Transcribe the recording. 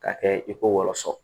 K'a kɛ i ko wɔlɔsɔ